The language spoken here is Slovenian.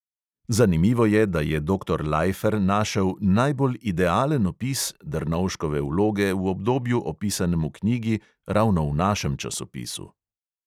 Zanimivo je, da je doktor laifer našel "najbolj idealen opis" drnovškove vloge v obdobju, opisanem v knjigi, ravno v našem časopisu.